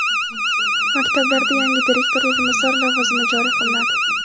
Maktablarda yangi direktor o‘rinbosari lavozimi joriy qilinadi.